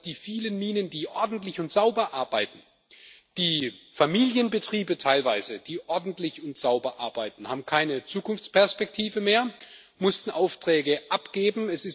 Das heißt auch, die vielen Minen, die ordentlich und sauber arbeiten, teilweise die Familienbetriebe, die ordentlich und sauber arbeiten, haben keine Zukunftsperspektive mehr, mussten Aufträge abgeben.